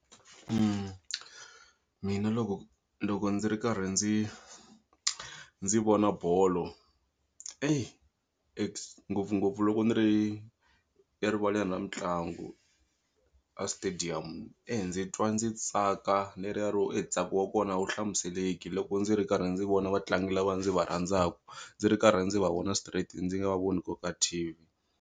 Mina loko loko ndzi ri karhi ndzi ndzi vona bolo ngopfungopfu loko ni ri erivaleni ra mitlangu a stadium e ndzi twa ndzi tsaka leriya ro e ntsako wa kona a wu hlamuseleki loko ndzi ri karhi ndzi vona vatlangi lava ndzi va rhandzaku ndzi ri karhi ndzi va vona straight ndzi nga va voni ku ri ka T_V.